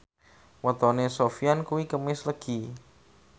wetone Sofyan kuwi Kemis Legi